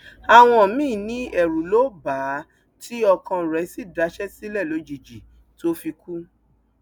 àwọn míín ní ẹrù ló bà á tí ọkàn rẹ sì daṣẹ sílẹ lójijì tó fi kú